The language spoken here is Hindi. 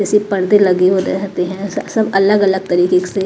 ऐसे पर्दे लगे हुए रहते हैं स सब अलग-अलग तरीके से--